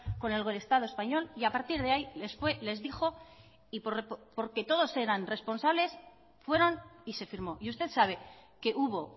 con el estado español y a partir de ahí les dijo y porque todos eran responsables fueran y se firmó y usted sabe que hubo